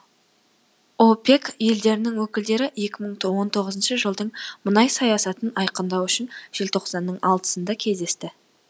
опек елдерінің өкілдері екі мың он тоғызыншы жылдың мұнай саясатын айқындау үшін желтоқсанның алтысында кездесті